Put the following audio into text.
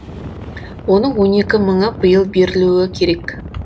оның он екі мыңы биыл берілуі керек